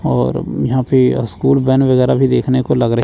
और यहां पे अह स्कूल वैन वगैरह भी देखने को लग रही--